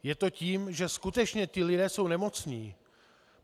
Je to tím, že skutečně ti lidé jsou nemocní.